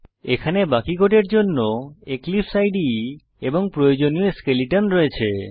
এখানে বাকি কোডের জন্য এক্লিপসে ইদে এবং প্রয়োজনীয় স্কেলেটন রয়েছে